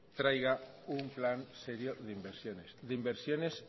traiga un plan serio de inversiones de inversiones